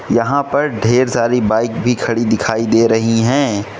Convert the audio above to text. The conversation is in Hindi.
यहां पर ढेर सारी बाइक भी खड़ी दिखाई दे रही हैं।